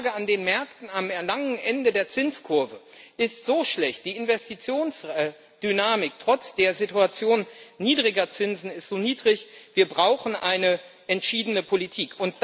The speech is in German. Die Lage an den Märkten, am langen Ende der Zinskurve, ist so schlecht, die Investitionsdynamik ist trotz der Situation niedriger Zinsen so niedrig wir brauchen eine entschiedene Politik.